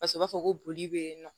Paseke u b'a fɔ ko boli bɛ yen nɔ